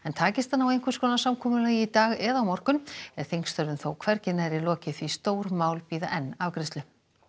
takist að ná einhvers konar samkomulagi í dag eða á morgun er þingstörfum þó hvergi nærri lokið því stór mál bíða enn afgreiðslu